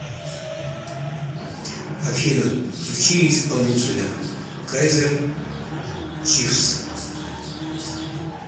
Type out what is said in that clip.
афина включи исполнителя кайзер чифс